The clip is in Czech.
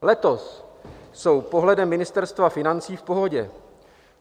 Letos jsou pohledem Ministerstva financí v pohodě.